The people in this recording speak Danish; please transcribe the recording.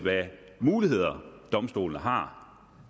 muligheder domstolene har